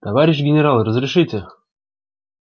товарищ генерал разрешите